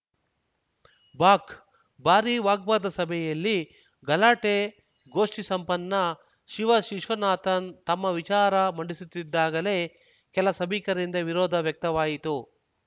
ಬಾಕ್ ಭಾರಿ ವಾಗ್ವಾದ ಸಭೆಯಲ್ಲಿ ಗಲಾಟೆ ಗೋಷ್ಠಿ ಸಂಪನ್ನ ಶಿವ ವಿಶ್ವನಾಥನ್‌ ತಮ್ಮ ವಿಚಾರ ಮಂಡಿಸುತ್ತಿದ್ದಾಗಲೇ ಕೆಲ ಸಭಿಕರಿಂದ ವಿರೋಧ ವ್ಯಕ್ತವಾಯಿತು